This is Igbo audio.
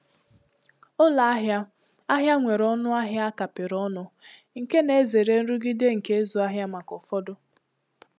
Ụlọ ahịa ahịa nwere ọnụ ahịa a kapịrị ọnụ, nke na-ezere nrụgide nke ịzụ ahịa maka ụfọdụ.